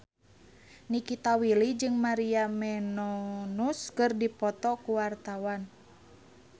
Nikita Willy jeung Maria Menounos keur dipoto ku wartawan